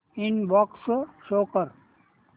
inbox show कर